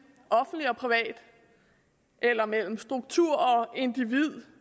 offentlig og privat eller mellem struktur og individ